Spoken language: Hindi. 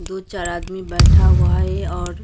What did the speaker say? दो चार आदमी बैठा हुआ है और--